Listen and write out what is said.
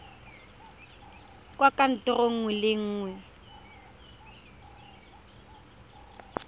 kwa kantorong nngwe le nngwe